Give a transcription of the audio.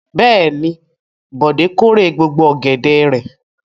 Bẹ́ẹ̀ ni, Bọ̀dé kórè gbogbo ọ̀gẹ̀dẹ̀ rẹ̀.